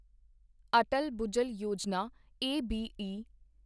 Atal Bhujal Yojana ਐਬਈ